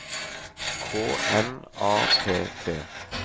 K N A P T